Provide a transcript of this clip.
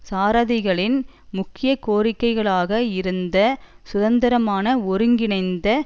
சாரதிகளின் முக்கிய கோரிக்கையாக இருந்த சுதந்திரமான ஒருங்கிணைந்த